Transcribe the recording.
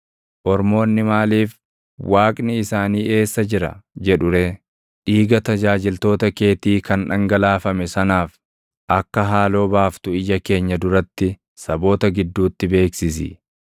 Ormoonni maaliif, “Waaqni isaanii eessa jira?” jedhu ree? Dhiiga tajaajiltoota keetii kan dhangalaafame sanaaf, akka haaloo baaftu ija keenya duratti saboota gidduutti beeksisi.